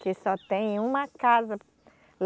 Que só tem uma casa.